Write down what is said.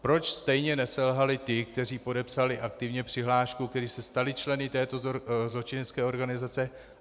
Proč stejně neselhali ti, kteří podepsali aktivně přihlášku, kteří se stali členy této zločinecké organizace?